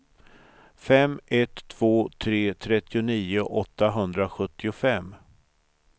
fem ett två tre trettionio åttahundrasjuttiofem